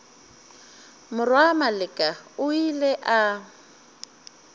morwa maleka o ile a